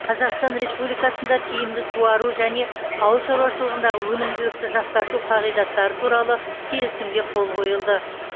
қазақстан республикасында тиімді суару және ауыл шаруашылығындағы өнімділікті жақсарту қағидаттары туралы келісімге қол қойылды